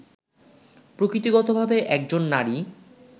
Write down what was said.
প্রকৃতিগতভাবে একজন নারী